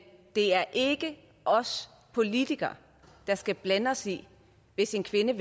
det er ikke os politikere der skal blande os i det hvis en kvinde